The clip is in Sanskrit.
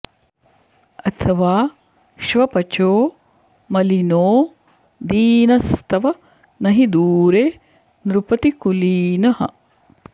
अथवा श्वपचो मलिनो दीनस्तव न हि दूरे नृपतिकुलीनः